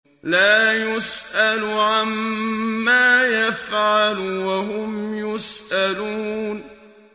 لَا يُسْأَلُ عَمَّا يَفْعَلُ وَهُمْ يُسْأَلُونَ